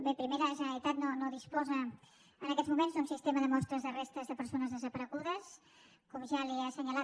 bé primer la generalitat no disposa en aquests moments d’un sistema de mostres de restes de persones desaparegudes com ja li he assenyalat